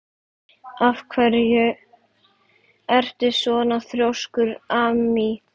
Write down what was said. Af hverju ertu svona þrjóskur, Amý?